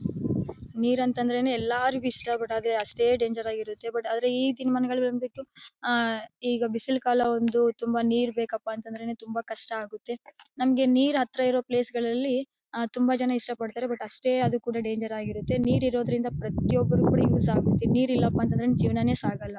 ನೀರ್ ಅಂತಂದ್ರೆ ನೇ ಎಲ್ಲರಿಗು ಇಷ್ಟ ಬಟ್ ಅಷ್ಟೇ ಡೇಂಜರ್ ಆಗಿ ಇರುತ್ತೆ ಬಟ್ ಈ ಬಂದ್ಬಿಟು ಆಹ್ಹ್ ಈಗ ಬಿಸಿಲು ಕಾಲದಲ್ಲಿ ತುಂಬ ನೀರ್ ಬೇಕಪ್ಪ ಅಂದ್ರೇನೆ ತುಂಬ ಕಷ್ಟ ಆಗುತ್ತೆ. ನಮಗೆ ನೀರ್ ಹತ್ರ ಇರೋ ಪ್ಲೇಸ್ ಗಳಲ್ಲಿ ತುಂಬ ಜನ ಇಷ್ಟ ಪಡ್ತಾರೆ ಬಟ್ ಅಷ್ಟೇ ಅದು ಕೂಡ ಡೇಂಜರ್ ಆಗಿ ಇರುತ್ತೆ. ನೀರ್ ಇರೋದ್ರಿಂದ ಪ್ರತಿಯೊಬ್ಬರೂ ಯೂಸ್ ಆಗುತ್ತೆ ನೀರ್ ಇಲ್ಲಪಾ ಅಂದ್ರೆ ಜೀವನನೇ ಸಗೋಲ್ಲ.